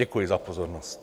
Děkuji za pozornost.